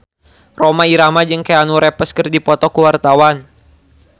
Rhoma Irama jeung Keanu Reeves keur dipoto ku wartawan